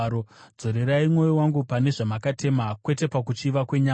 Dzorerai mwoyo wangu pane zvamakatema kwete pakuchiva kwenyama.